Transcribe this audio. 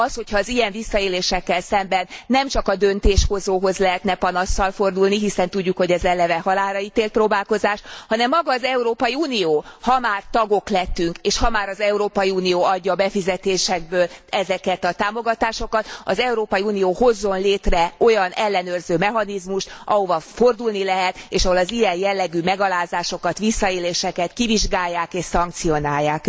Az, hogyha az ilyen visszaélésekkel szemben nem csak a döntéshozóhoz lehetne panasszal fordulni, hiszen tudjuk, hogy ez eleve halálraítélt próbálkozás, hanem maga az Európai Unió, ha már tagok lettünk, és ha már az Európai Unió adja a befizetésekből ezeket a támogatásokat, az Európai Unió hozzon létre olyan ellenőrző mechanizmust, ahova fordulni lehet és ahol az ilyen jellegű megalázásokat, visszaéléseket kivizsgálják és szankcionálják.